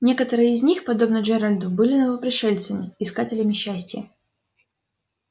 некоторые из них подобно джералду были новопришельцами искателями счастья